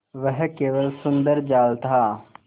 वह केवल सुंदर जाल था